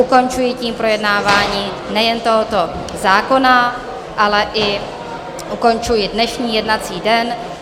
Ukončuji tím projednávání nejen tohoto zákona, ale ukončuji i dnešní jednací den.